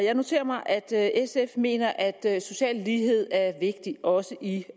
jeg noterer mig at sf mener at social lighed er vigtig også i